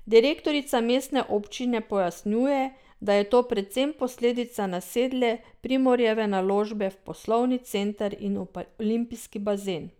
Direktorica mestne občine pojasnjuje, da je to predvsem posledica nasedle Primorjeve naložbe v poslovni center in olimpijski bazen.